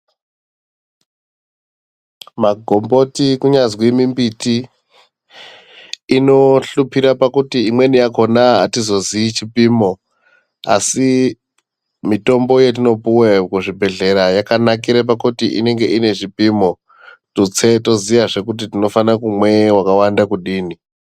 Magomboti kunyazwi mi mbiti ino shupira pakuti imweni yakona atizo zii chipimo asi mitombo yetino puwa ku zvibhedhlera yakanakire pakuti inenge ine zvipimo tutse toziya zvee kuti tinofana kumwe wakawanda kudini .